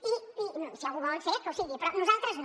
i si algú ho vol ser que ho sigui però nosaltres no